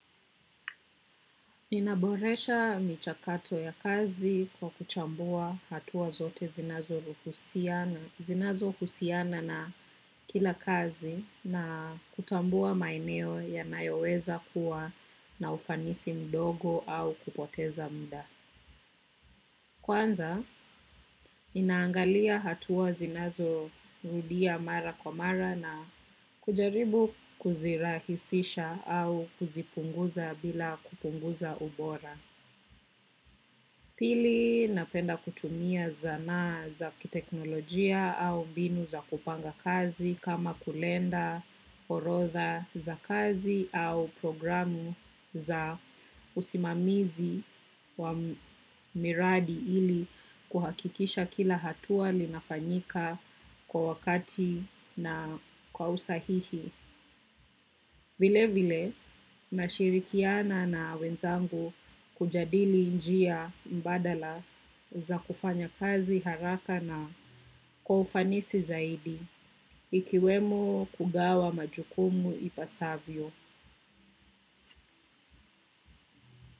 Ninaboresha michakato ya kazi kwa kuchambua hatua zote zinazohusiana na kila kazi na kutambua maeneo yanayoweza kuwa na ufanisi mdogo au kupoteza muda. Kwanza, ninaangalia hatua zinazo rudia mara kwa mara na kujaribu kuzirahisisha au kuzipunguza bila kupunguza ubora. Pili napenda kutumia zana za kiteknolojia au mbinu za kupanga kazi kama kalenda orodha za kazi au programu za usimamizi wa miradi ili kuhakikisha kila hatua linafanyika kwa wakati na kwa usahihi. Vile vile nashirikiana na wenzangu kujadili njia mbadala za kufanya kazi haraka na kwa ufanisi zaidi ikiwemo kugawa majukumu ipasavyo.